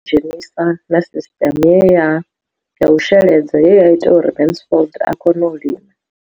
dzhenisa na sisiṱeme ya u sheledza ye ya ita uri Mansfied a kone u lima.